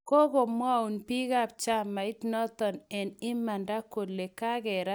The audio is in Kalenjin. kakumwou biikab chamait noto eng imanda kole kakerat chito noto